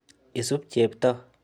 Isup Cheptoo.